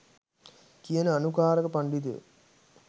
කියන අනුකාරක පණ්ඩිතයො.